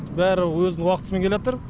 бәрі өзінің уақытысымен келатыр